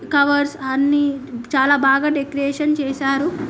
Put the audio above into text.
Covers అన్ని చాలా బాగా డెకరేషన్ చేసారు .